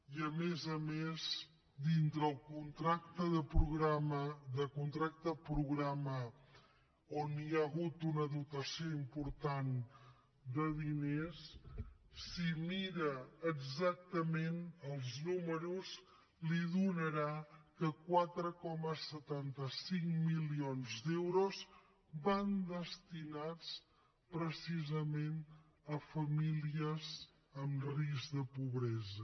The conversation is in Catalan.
i a més a més dintre el contracte programa on hi ha hagut una dotació important de diners si mira exactament els números li donarà que quatre coma setanta cinc milions d’euros van destinats precisament a famílies en risc de pobresa